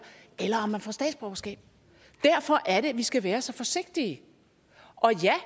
eller om man får statsborgerskab derfor er det vi skal være så forsigtige og ja